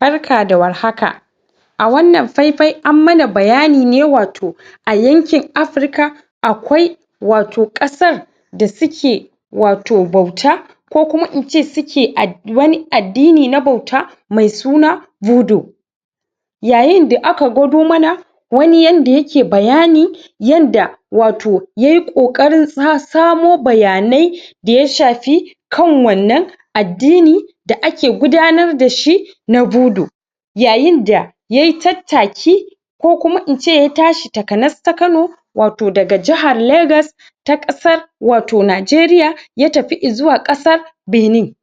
Barka da warhaka! A wannan fai-fai an muna bayani ne wato a yankin Afirika, akwai wato ƙasar da suke wato bauta ko kuma in ce su ke ad wani addini na bauta mai suna budu. Yayin da aka gwado muna wani yanda ya ke bayani yanda wato yayi ƙoƙarin sa samo bayanai da ya shafi kan wannan addini da ake gudanar da shi na budu. Yayin da yayi tattaki ko kuma in ce ya tashi takanas-ta-kano wato daga jahar Legas ta ƙasar wato Najeriya, ya tafi izuwa ƙasar Benin.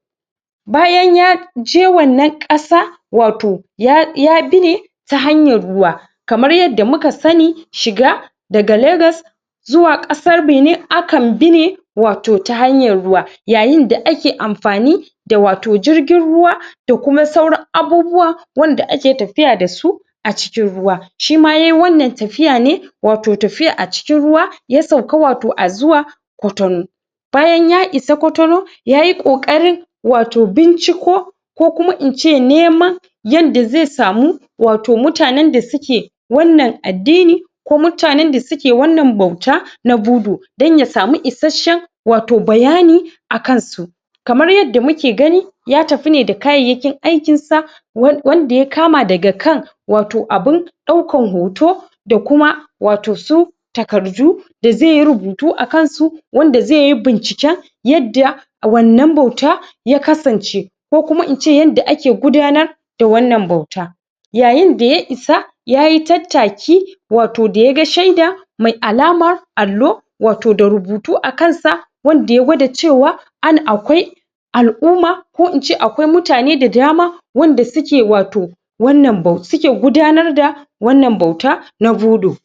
Bayan ya je wannan ƙasa, wato ya yabi ne ta hanyar ruwa, kamar yadda muka sani shiga daga Legas zuwa ƙasar Benin aka bi ne wato ta hanyar ruwa yayin da ake amfani da wato jirgin ruwa da kuma sauran abubuwa wanda ake tafiya da su a cikin ruwa. Shima yayi wannan tafiya ne wato tafiya a cikin ruwa, ya sauka wato a zuwa Kotono. Bayan ya isa Kotono, yayi ƙoƙarin wato binciko ko kuma in ce neman yanda zai samu wato mutanen da su ke wannan addini ko mutanen da su ke wannan bauta na budu dan ya samu isasshen wato bayani a kansu. Kamar yadda muke gani ya tafi ne da kayayyakin aikin sa wanda ya kama daga kan wato abun ɗaukan hoto da kuma wato su takardu da zai yi rubutu akan su wanda zai yi binciken yadda a wannan bauta ya kasance ko kuma in ce yadda ake gudanar da wannan bauta. Yayin da ya isa, yayi tattaki wato da ya ga shaida mai alama allo wato da rubutu a kansa wanda ya gwada cewa an akwai ala'umma, ko in ce akwai mutane da dama wanda su ke wato wannan bau, su ke gudanar da wannan bauta na budu.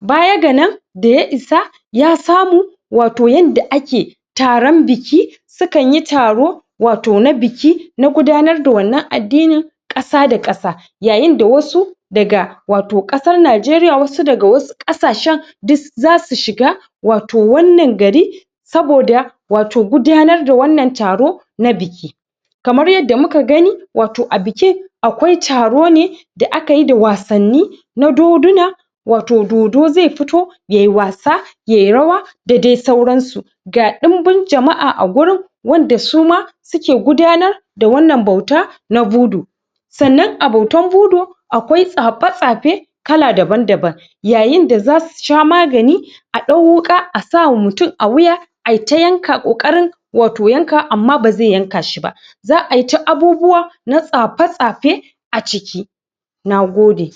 Baya ga nan da ya isa, ya samu wato yanda ake taron biki, sukan yi taro wato na biki na gudanar da wannan addini ƙasa-da-ƙasa, yayin da wasu daga wato ƙasar Najeriya, wasu daga wasu ƙasashen duk za su shiga wato wannan gari saboda wato gudanar da wannan taro na biki. Kamar yadda muka gani wato a biki akwai taro ne da aka yi da wasanni na doduna, wato dodo zai fito yayi was, yayi rawa, da dai sauran su. Ga ɗimbin jama'a a gurin wanda su ma su ke gudanar da wannan bauta na budu. Sannan a bautan budu, akwai tsafe-tsafe kala daban-daban. Yayin da za su sha magani a ɗau wuƙa sawa mutum a wuya ayi ta yanka ƙoƙarin wato yanka, amma ba zai yanka shi ba. Za'a yi ta abubuwa na tsafe-tsafe a ciki. Nagode!